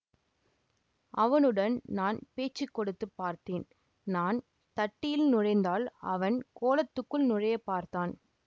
அவனுடன் நான் பேச்சு கொடுத்து பார்த்தேன் நான் தட்டியில் நுழைந்தால் அவன் கோலத்துக்குள் நுழைய பார்த்தான்